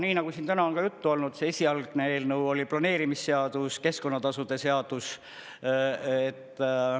Nii nagu siin täna on juttu olnud, see esialgne eelnõu oli planeerimisseadus, keskkonnatasude seadus.